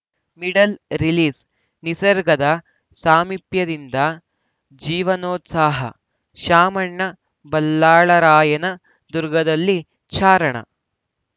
middle ರಿಲೀಸ್‌ನಿಸರ್ಗದ ಸಾಮೀಪ್ಯದಿಂದ ಜೀವನೋತ್ಸಾಹ ಶಾಮಣ್ಣ ಬಲ್ಲಾಳರಾಯನ ದುರ್ಗದಲ್ಲಿ ಚಾರಣ